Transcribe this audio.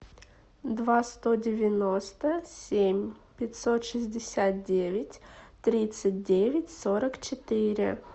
два сто девяносто семь пятьсот шестьдесят девять тридцать девять сорок четыре